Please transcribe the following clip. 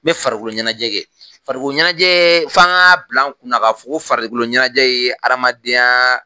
N bɛ farikolo ɲɛnajɛ kɛ, farikolo ɲɛnajɛ, f'an k'a bil'an kunna k'a fɔ ko farikolo ɲɛnajɛ ye hadamadenya